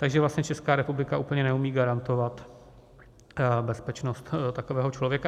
Takže vlastně Česká republika úplně neumí garantovat bezpečnost takového člověka.